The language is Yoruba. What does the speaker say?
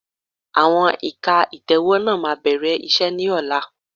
Àwọn ẹ̀ka ìtẹ̀wẹ́ náà máa bẹ̀rẹ̀ iṣẹ́ ni ọ̀la